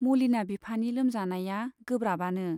मलिना बिफानि लोमजानाया गोब्राबआनो।